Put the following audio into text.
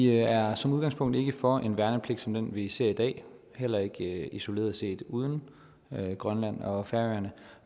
er som udgangspunkt ikke for en værnepligt som den vi ser i dag heller ikke isoleret set uden grønland og færøerne